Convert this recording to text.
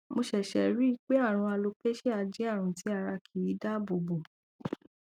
mo ṣẹṣẹ rí i pé àrùn alopecia jẹ àrùn tí ara kì í dáàbò bò